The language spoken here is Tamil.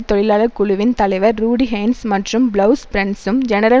தொழிலாளர் குழுவின் தலைவர் ரூடி கென்ஸ் மற்றும் பிளவுஸ் பிரன்ஸும் ஜெனரல்